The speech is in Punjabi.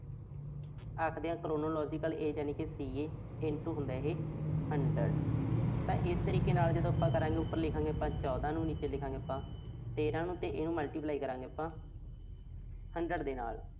ਆਖਦੇ ਆਂ chronological age ਯਾਨੀ ਕਿ CA into ਹੁੰਦਾ ਇਹੇ hundred ਤਾਂ ਇਸ ਤਰੀਕੇ ਦੇ ਨਾਲ ਜਿਹੜਾ ਆਪਾਂ ਕਰਾਂਗੇ, ਉਪਰ ਲਿਖਾਂਗੇ ਆਪਾਂ ਚੌਦਾਂ ਨੂੰ ਤੇ ਨੀਚੇ ਲਿਖਾਂਗੇ ਆਪਾਂ ਤੇਰ੍ਹਾਂ ਨੂੰ ਤੇ ਇਹਨੂੰ multiply ਕਰਾਂਗੇ ਆਪਾਂ hundred ਦੇ ਨਾਲ